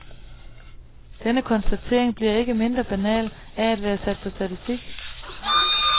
Denne konstatering bliver ikke mindre banal af at være sat på statistik.